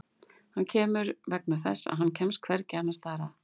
Hann kemur vegna þess að hann kemst hvergi annars staðar að.